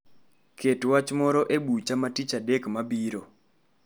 Ket wach moro e bucha ma tich adek mabiro